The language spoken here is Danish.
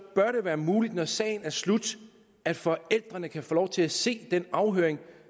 bør det være muligt når sagen er slut at forældrene kan få lov til at se den afhøring